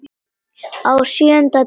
Á SJÖUNDA DEGI